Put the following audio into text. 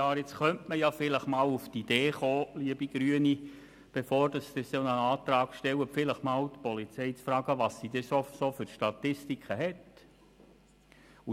Man könnte nun auf die Idee kommen, liebe Grüne, bei der Polizei nachzufragen, welche Statistiken bereits bestehen.